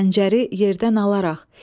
Xəncəri yerdən alaraq.